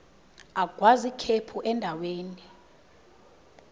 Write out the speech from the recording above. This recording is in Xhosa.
agwaz ikhephu endaweni